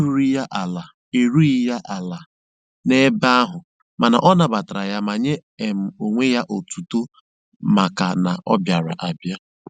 Ahụ erughị ya ala erughị ya ala n'ebe ahụ mana ọ nabatara ya ma nye um onwe ya otuto maka na ọ bịara abịa.